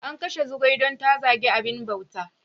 An kashe Zugwai don ta zagi abin bauta.